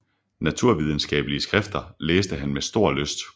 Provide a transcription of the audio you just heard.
Naturvidenskabelige skrifter læste han med stor lyst